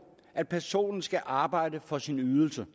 at personen skal arbejde for sin ydelse